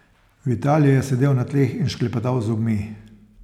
Vitalij je sedel na tleh in šklepetal z zobmi.